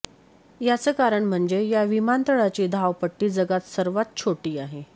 याचं कारण म्हणजे या विमानतळाची धावपट्टी जगात सर्वात छोटी आहे